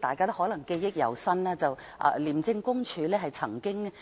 大家可能記憶猶新，廉署曾經